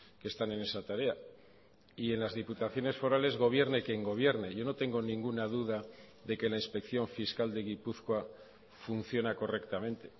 que están en esa tarea y en las diputaciones forales gobierne quien gobierne yo no tengo ninguna duda de que la inspección fiscal de gipuzkoa funciona correctamente